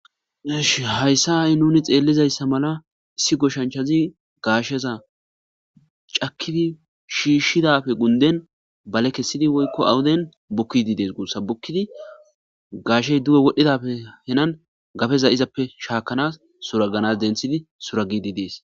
hayssan ha'i nuni xeellizayssa mala issi goshanchazi gaasheza cakidi shiishshidape gunden bale kessidi woykko awuden bukkidi dees guussa bukkidi gaashey duwe wodhidappe henan gapeza izappe shaakanas suraganas denthidi suragidi dees